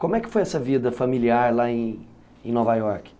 Como é que foi essa vida familiar lá em... Nova Iorque?